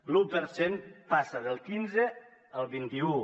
l’un per cent passa del quinze al vint un